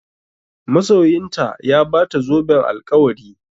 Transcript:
Masoyinta ya Bata zoben alkawari